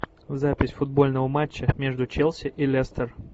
запись футбольного матча между челси и лестер